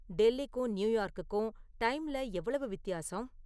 டெல்லிக்கும் நியூயார்க்குக்கும் டைம்ல எவ்வளவு வித்தியாசம்?